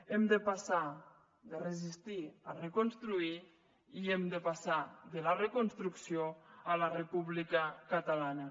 hem de passar de resistir a reconstruir i hem de passar de la reconstrucció a la república catalana